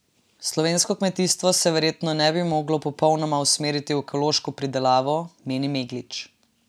Slovensko kmetijstvo se verjetno ne bi moglo popolnoma preusmeriti v ekološko pridelavo, meni Meglič.